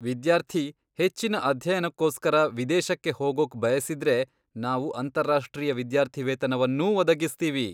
ವಿದ್ಯಾರ್ಥಿ ಹೆಚ್ಚಿನ ಅಧ್ಯಯನಕ್ಕೋಸ್ಕರ ವಿದೇಶಕ್ಕೆ ಹೋಗೋಕ್ ಬಯಸಿದ್ರೆ ನಾವು ಅಂತಾರಾಷ್ಟ್ರೀಯ ವಿದ್ಯಾರ್ಥಿವೇತನವನ್ನೂ ಒದಗಿಸ್ತೀವಿ.